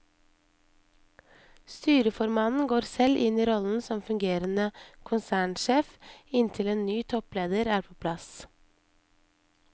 Styreformannen går selv inn i rollen som fungerende konsernsjef inntil en ny toppleder er på plass.